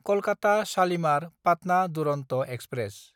Kolkata शालिमार–पाटना Duronto express